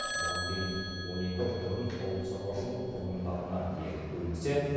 бұған дейін он екі орын ауылшаруашылық құрылымдарына беріл бөлінсе